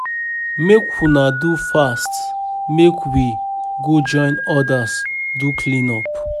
Make una do fast make we go join others do clean up